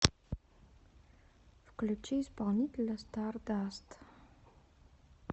включи исполнителя стардаст